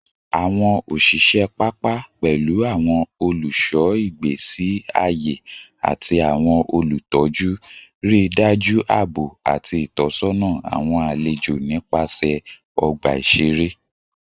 Awọn oṣiṣẹ papa, pẹlu awọn oluṣọ igbesi aye ati awọn olutọju, rii daju aabo ati itọsọna awọn alejo nipasẹ ọgba iṣere